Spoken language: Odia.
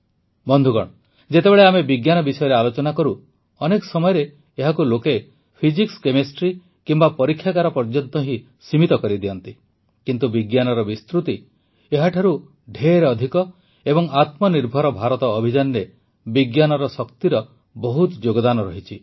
ବନ୍ଧୁଗଣ ଯେତେବେଳେ ଆମେ ବିଜ୍ଞାନ ବିଷୟରେ ଆଲୋଚନା କରୁ ଅନେକ ସମୟରେ ଏହାକୁ ଲୋକେ ଫିଜିକ୍ସକେମିଷ୍ଟ୍ରି କିମ୍ବା ପରୀକ୍ଷାଗାର ପର୍ଯ୍ୟନ୍ତ ହିଁ ସୀମିତ କରିଦିଅନ୍ତି କିନ୍ତୁ ବିଜ୍ଞାନର ବିସ୍ତୃତି ଏହାଠାରୁ ବହୁତ ଅଧିକ ଏବଂ ଆତ୍ମନିର୍ଭର ଭାରତ ଅଭିଯାନରେ ବିଜ୍ଞାନର ଶକ୍ତିର ବହୁତ ଯୋଗଦାନ ଅଛି